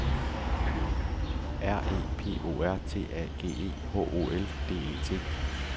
R E P O R T A G E H O L D E T